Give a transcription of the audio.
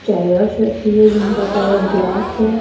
Chairs रखी हुई है जिनका कलर ब्लैक है।